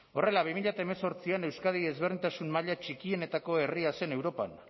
horrela bi mila hemezortzian euskadi ezberdintasun maila txikienetako herria zen europan